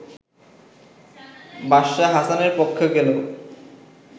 বাদশাহ হাসানের পক্ষে গেল